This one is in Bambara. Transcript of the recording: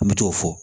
N bɛ t'o fɔ